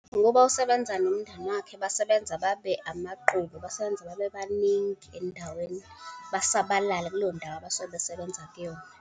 Ukuba usebenza nomndeni wakhe. Basebenza babe amaqoqo. Basebenza babe baningi endaweni, basabalale kuleyo ndawo abasuke besebenza kuyona.